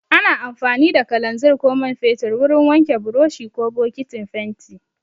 Ana amfani da kalanzir ko man fetur wurin wanke buroshi ko bokitin fenti.